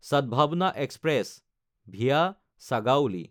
Sadbhavna express (via Sagauli)